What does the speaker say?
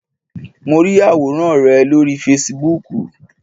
Mo rí àwòrán rẹ lórí Fasibúùkù